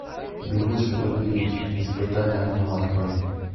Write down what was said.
бегущий в лабиринте испытание огнем открой